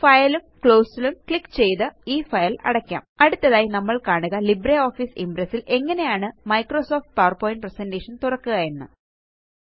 file ഉം close ലും click ചെയ്തു ഈ ഫയൽ അടയ്ക്കാം അടുത്തതായി നമ്മള് കാണുക ലിബ്രെ ഓഫീസ് ഇംപ്രസ് ല് എങ്ങനെയാണ് മൈക്രോസോഫ്റ്റ് പവർ പോയിന്റ് പ്രസന്റേഷൻ തുറക്കുക എന്ന്